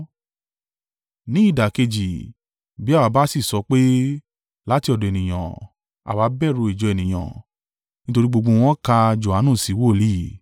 Ní ìdàkejì, bí àwa bá sì sọ pé, ‘Láti ọ̀dọ̀ ènìyàn, àwa bẹ̀rù ìjọ ènìyàn, nítorí gbogbo wọ́n ka Johanu sí wòlíì.’ ”